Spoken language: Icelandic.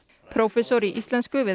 prófessor í íslensku við